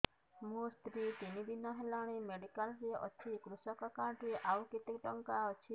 ମୋ ସ୍ତ୍ରୀ ତିନି ଦିନ ହେଲାଣି ମେଡିକାଲ ରେ ଅଛି କୃଷକ କାର୍ଡ ରେ ଆଉ କେତେ ଟଙ୍କା ଅଛି